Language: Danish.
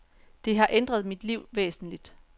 Det har ændret mit liv væsentligt.